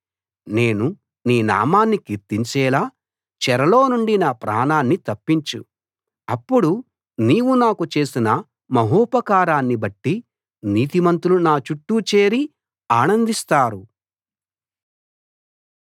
నేను నీ నామాన్ని కీర్తించేలా చెరలోనుండి నా ప్రాణాన్ని తప్పించు అప్పుడు నీవు నాకు చేసిన మహోపకారాన్ని బట్టి నీతిమంతులు నా చుట్టూ చేరి ఆనందిస్తారు